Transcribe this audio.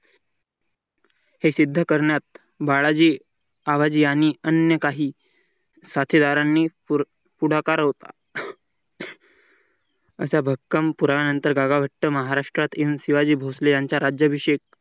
हे सिद्ध करण्यास बाळाची आवाज यांनी अन्य काही साध्यदारांनी पुढाकार होता. अशा भक्कम पुरावानंतर काकाभट्टी महाराष्ट्रातील शिवाजी भोसले यांचा राज्याभिषेक